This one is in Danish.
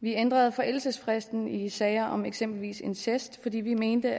vi ændrede forældelsesfristen i sager om eksempelvis incest fordi vi mente